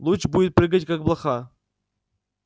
луч будет прыгать как блоха